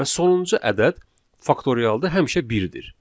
Və sonuncu ədəd faktorialda həmişə birdir.